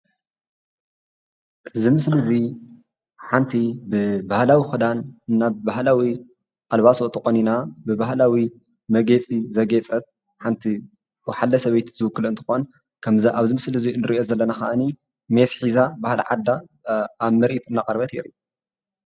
እዚ ምስሊ እዚ ሓንቲ ብባህላዊ ክዳን እና ብባህላዊ ኣልባሳት ተቆኒና ብባህላዊ መግየፂ ዘግየፀትሓንቲ ወሓለ ሰበይቲ ዝዉክላ እንትኮን ከምዛ እብ ዚ ምስሊ እዙይ ንሪኦ ዘለና ከዓኒ ሜስ ሒዛ ባህሊ ዓዳ ኣብ መሬት እናቅረበት እያ ፡፡